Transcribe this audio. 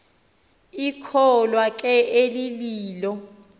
ikholwa ke elililo